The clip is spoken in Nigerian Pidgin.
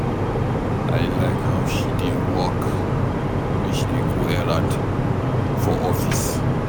I like how she dey walk wen she dey go errand for office.